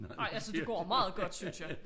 Nej altså det går meget godt synes jeg